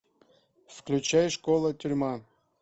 включай школа тюрьма